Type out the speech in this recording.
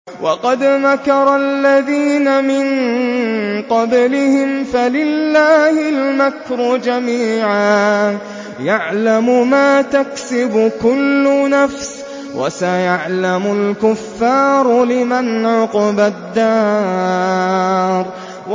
وَقَدْ مَكَرَ الَّذِينَ مِن قَبْلِهِمْ فَلِلَّهِ الْمَكْرُ جَمِيعًا ۖ يَعْلَمُ مَا تَكْسِبُ كُلُّ نَفْسٍ ۗ وَسَيَعْلَمُ الْكُفَّارُ لِمَنْ عُقْبَى الدَّارِ